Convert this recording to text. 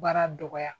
Baara dɔgɔya